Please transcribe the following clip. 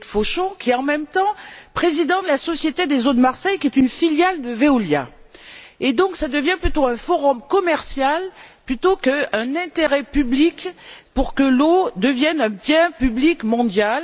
Loïc Fauchon, est en même temps président de la Société des eaux de Marseille, qui est une filiale de Veolia. Cela devient donc un forum commercial plutôt qu'un intérêt public pour que l'eau devienne un bien public mondial.